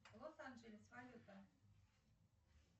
лос анджелес валюта